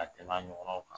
Ka tɛmɛ a ɲɔgɔnnaw kan